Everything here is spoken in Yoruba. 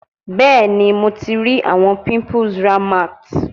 Bẹẹni, Mo ti ri awọn pimples Rahmat